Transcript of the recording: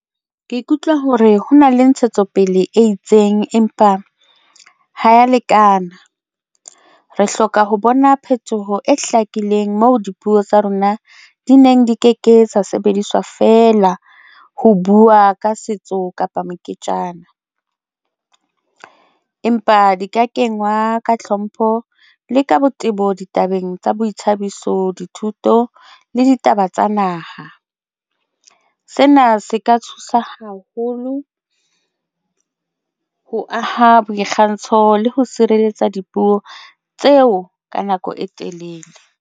Ke ikutlwa hore ho na le ntshetsopele e itseng, empa ha ya lekana re hloka ho bona phetoho e hlakileng mo dipuo tsa rona di neng di ke ke tsa sebediswa feela ho buwa ka setso kapa moketjana. Empa di ka kengwa ka hlompho le ka botebo ditabeng tsa boithabiso, dithuto le ditaba tsa naha. Sena se ka haholo ho aha boikgantsho le ho sireletsa dipuo tseo ka nako e telele.